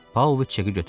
Pauloviç çeki götürdü.